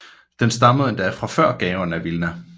Det stammede endda fra før Gaon af Vilna